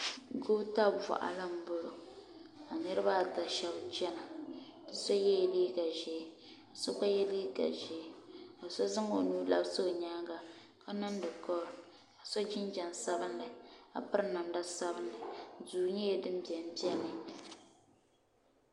goota boɣali n bɔŋɔ ka niraba ata shab chɛna bi so yɛla liiga ʒiɛ ka so gba yɛ liiga ʒiɛ ka so zaŋ o nuu labisi o nyaanga ka niŋdi kool ka so jinjɛm sabinli ka piri namda sabinli duu nyɛla din biɛni biɛni